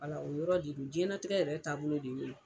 Wala o yɔrɔ de don diɲɛnatigɛ yɛrɛ taabolo de ye o ye.